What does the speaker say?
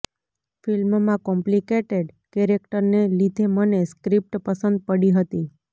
ફિલ્મમાં કોમ્પ્લિકેટેડ કેરેક્ટરને લીધે મને સ્ક્રિપ્ટ પસંદ પડી હતી